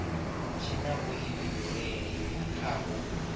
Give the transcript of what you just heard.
tshi na vhuifhinduleli kha u